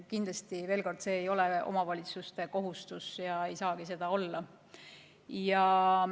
Kindlasti, veel kord, see ei ole omavalitsuste kohustus ja ei saagi olla.